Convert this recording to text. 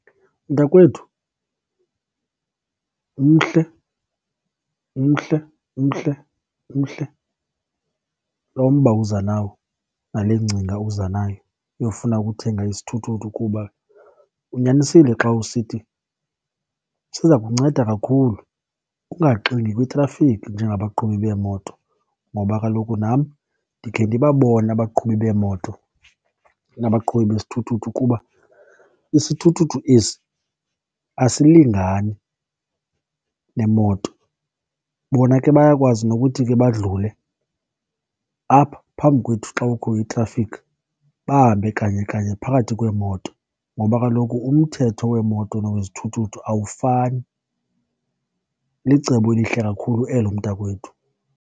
Mntakwethu, umhle umhle umhle umhle lo mba uza nawo nale ngcinga uza nayo yofuna ukuthenga isithuthuthu kuba unyanisile xa usithi siza kunceda kakhulu ungaxingi kwitrafiki njengabaqhubi beemoto. Ngoba kaloku nam ndikhe ndibabone abaqhubi beemoto nabaqhubi besithuthuthu kuba isithuthuthu esi asilingani nemoto. Bona ke bayakwazi nokuthi ke badlule apha phambi kwethu xa kukho itrafikhi bahambe kanye kanye phakathi kweemoto ngoba kaloku umthetho wemooto nowezithuthuthu awufani. Licebo elihle kakhulu elo mntakwethu.